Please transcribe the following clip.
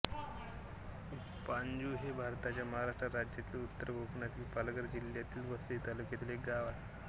पाणजू हे भारताच्या महाराष्ट्र राज्यातील उत्तर कोकणातील पालघर जिल्ह्यातील वसई तालुक्यातील एक गाव आहे